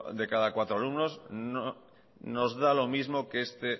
de cada cuatro alumnos nos da lo mismo que este